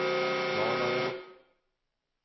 Dalarö